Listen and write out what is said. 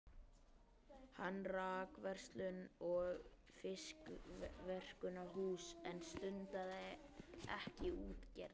Hann rak verslun og fiskverkunarhús en stundaði ekki útgerð.